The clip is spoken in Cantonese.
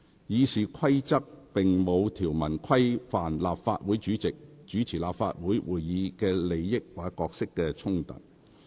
《議事規則》並無條文規範立法會主席主持立法會會議的利益或角色衝突事宜。